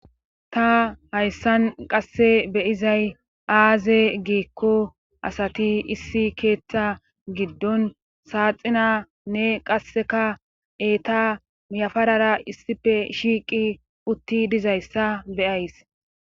Ta hayssan qasse be7izay aaze giikko asati issi keettaa giddon saaxinaanne qassika eeta yafarara issipe shiiqi utti dizayssa be7ays.